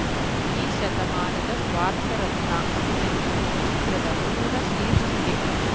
ಈ ಶತಮಾನದ ಸ್ವಾರ್ಥರತ್ನ ಎನ್ನುವುದು ಚಿತ್ರದ ಪೂರ್ಣ ಶೀರ್ಷಿಕೆ